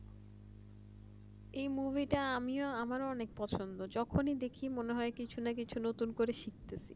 এই মুভিটা আমারও খুব পছন্দ যখনই দেখিনি তখনই মনে হয় কিছু কিছু নতুন করে কিছু শিখতেছি